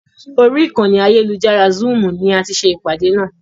Orí ìkànnì ayélujára "zúúmù" ni á tì ṣe ìpàdé náà.